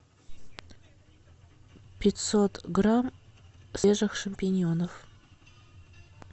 пятьсот грамм свежих шампиньонов